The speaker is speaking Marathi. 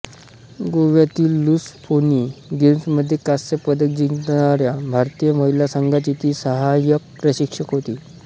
गोव्यातील लुसफोनी गेम्समध्ये कांस्य पदक जिंकणाऱ्या भारतीय महिला संघाची ती सहायक प्रशिक्षक होती